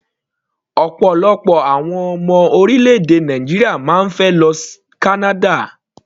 Ọ̀pọ̀lọpọ̀ àwọn ọmọ orílẹ̀-èdè Nàìjíríà máa ń fẹ́ lọ Canada.